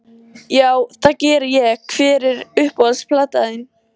Já, það geri ég Hver er uppáhalds platan þín?